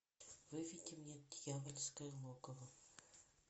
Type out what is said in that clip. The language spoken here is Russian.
выведи мне дьявольское логово